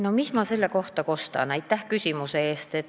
No mis ma selle kohta kostan?